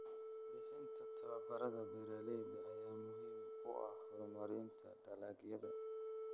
Bixinta tababarada beeralayda ayaa muhiim u ah horumarinta dalagyada.